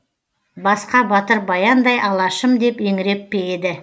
басқа батыр баяндай алашым деп еңіреп пе еді